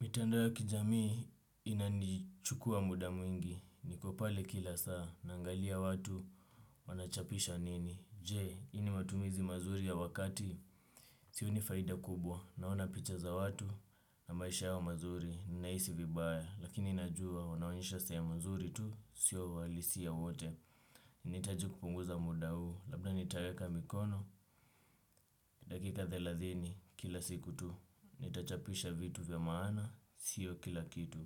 Mitandao ya kijamii inanichukua muda mwingi, niko pale kila saa, naangalia watu, wanachapisha nini. Je, ini matumizi mazuri ya wakati, sioni faida kubwa, naona picha za watu, na maisha ya wa mazuri, ninaisi vibaya, lakini inajua, wanaonesha sayo mazuri tu, sio walisi ya wote. Nitaji kupunguza muda huu, labda nitaeka mikono, dakika thelathini kila siku tu, nitachapisha vitu vya maana, sio kila kitu.